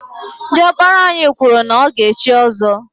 Diọkpara anyị kwụrụ na ọ ga echi ọzọ.